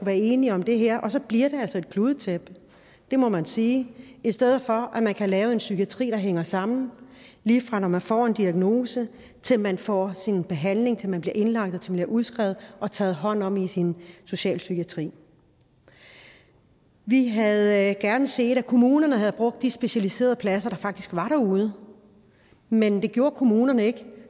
være enige om det her og så bliver det altså et kludetæppe det må man sige i stedet for at man kan lave en psykiatri der hænger sammen lige fra man får en diagnose til man får sin behandling til man bliver indlagt og til man bliver udskrevet og taget hånd om i socialpsykiatrien vi havde gerne set at kommunerne havde brugt de specialiserede pladser der faktisk var derude men det gjorde kommunerne ikke